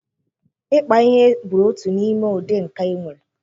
Ịkpa ihe bụ otu n'ime ụdị nka e nwere.